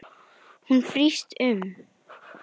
Hún brýst um.